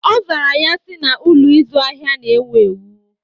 Ọ zara ya si, na Ụlọ ịzụ ahịa na-ewu ewu